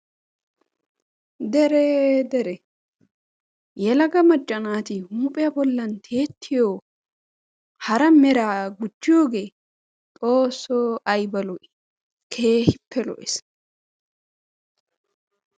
Dere dere! Yelaga macca naati huuphiya bollan tiyetiyo hara meera gujjiyoge xoosso ayba lo'i! Keehippe lo'ees.